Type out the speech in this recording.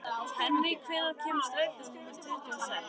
Henrý, hvenær kemur strætó númer tuttugu og sex?